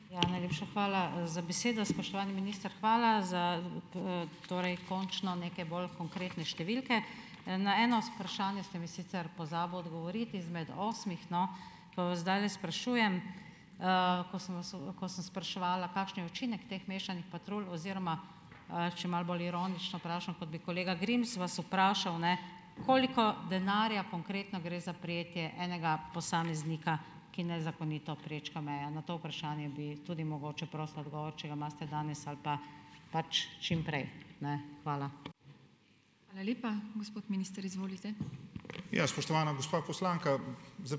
Ja, najlepša hvala, za besedo. Spoštovani minister, hvala za, torej, končno neke bolj konkretne številke. Na eno vprašanje ste mi sicer pozabil odgovoriti, izmed osmih, no, pa vas zdajle sprašujem, ko sem vas ko sem spraševala, kakšen je učinek teh mešanih patrulj oziroma, če malo bolj ironično vprašam, kot bi kolega Grims vas vprašal, ne, koliko denarja konkretno gre za prijetje enega posameznika, ki nezakonito prečka meje? Na to vprašanje bi tudi mogoče prosila odgovor, če ga imate danes ali pa, pač, čim prej, ne. Hvala.